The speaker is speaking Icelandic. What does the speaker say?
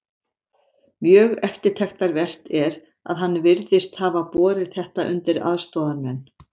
Mjög eftirtektarvert er, að hann virðist hafa borið þetta undir aðstoðarmenn